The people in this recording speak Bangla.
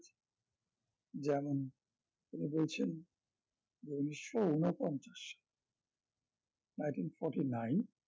যেমন উনি বলছেন যে ঊনিশশো ঊনপঞ্চাশ nineteen forty-nine